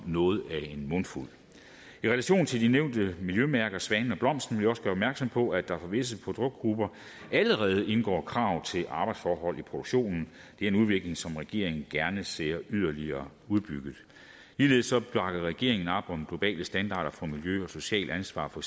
noget af en mundfuld i relation til de nævnte miljømærker svanen og blomsten vil jeg også gøre opmærksom på at der for visse produktgrupper allerede indgår krav til arbejdsforhold i produktionen det er en udvikling som regeringen gerne ser yderligere udbygget ligeledes bakker regeringen op om globale standarder for miljø og socialt ansvar for